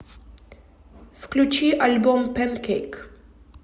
включи альбом пэнкейк